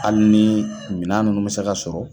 Hali ni minan nunnu mɛ se ka sɔrɔ